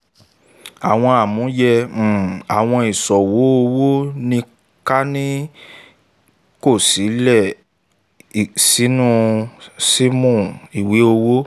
àwọn àmúyẹ um · àwọn ìṣòwò owó ní kan ni a um kọ sílè sínú sílè sínú ìwé owó ·